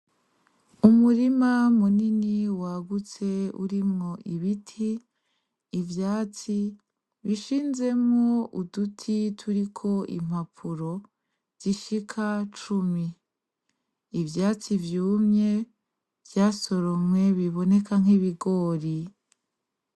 Umurima munini wagutse urimwo ibiti ,ivyatsi bishinzemwo udutituriko impapuro zishika cumi. Ivyatsi vyumye vyasoromwe biboneka nk’ibigori .